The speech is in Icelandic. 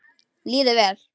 Líður vel.